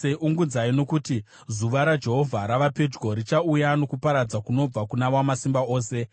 Ungudzai, nokuti zuva raJehovha rava pedyo; richauya nokuparadza kunobva kuna Wamasimba Ose.